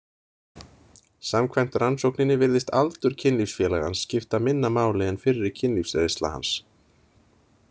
Samkvæmt rannsókninni virðist aldur kynlífsfélagans skipta minna máli en fyrri kynlífsreynsla hans.